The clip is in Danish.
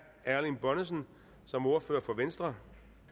erling bonnesen som ordfører for venstre